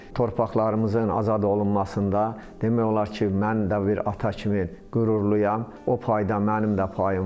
Torpaqlarımızın azad olunmasında demək olar ki, mən də bir ata kimi qürurluyam, o payda mənim də payım var.